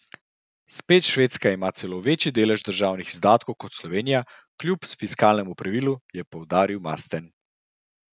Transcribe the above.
Spet Švedska ima celo večji delež državnih izdatkov kot Slovenija kljub fiskalnemu pravilu, je poudaril Masten.